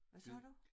Hvad sagde du?